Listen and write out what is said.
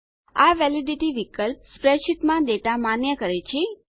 આ વેલિડિટી વિકલ્પ સ્પ્રેડશીટમાં ડેટા માન્ય કરે છે